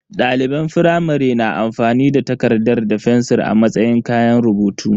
Daliban firamare na amfani da takarda da fensir a matsayin kayan rubutu.